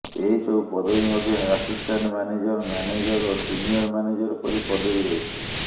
ଏହି ସବୁ ପଦବୀ ମଧ୍ୟରେ ଆସିଷ୍ଟାଣ୍ଟ ମ୍ୟାନେଜର୍ ମ୍ୟାନେଜର୍ ଓ ସିନିୟର୍ ମ୍ୟାନେଜର୍ ପରି ପଦବୀ ରହିଛି